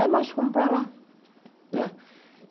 Aí nós fomos para lá, né?